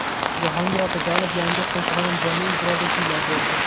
Jahongir Otajonov yangi qo‘shig‘ini jonli ijroda kuylab berdi.